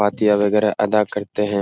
पातिया वगैरा अदा करते हैं।